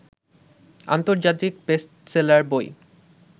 আন্তর্জাতিক বেস্টসেলার বই